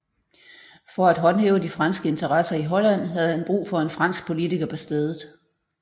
For at håndhæve de franske interesser i Holland havde han brug for en fransk politiker på stedet